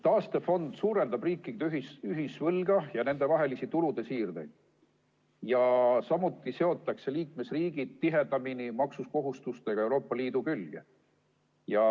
Taastefond suurendab riikide ühisvõlga ja nendevahelisi tulude siirdeid, samuti seotakse liikmesriigid maksukohustustega tihedamini Euroopa Liidu külge.